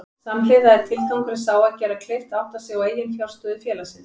Samhliða er tilgangurinn sá að gera kleift að átta sig á eiginfjárstöðu félagsins.